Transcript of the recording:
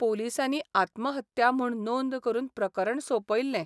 पोलिसांनी आत्महत्या म्हूण नोंद करून प्रकरण सौंपयलें.